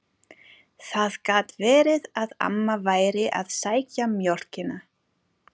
Það gat verið að amma væri að sækja mjólkina.